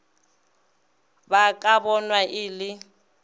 ba ka bonwa e le